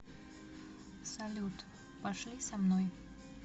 салют пошли со мной